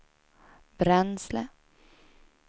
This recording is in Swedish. bränsle